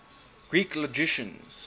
greek logicians